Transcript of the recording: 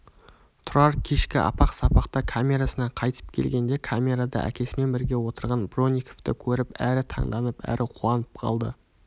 тұрар кешкі апақ-сапақта камерасына қайтып келгенде камерада әкесімен бірге отырған бронниковты көріп әрі таңданып әрі қуанып қалды